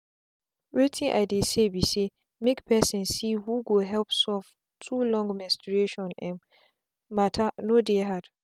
wetin i dey say be saymake person see who go help solve too long menstrustion um matter no dey hard.